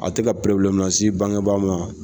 A tɛ ka probilɛmu lase bangebaa ma.